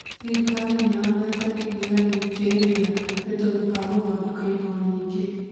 Thirikari nĩyonete iria rĩingĩ rĩrĩa rĩtũmĩkaga gũthondeka indo nyĩngĩ.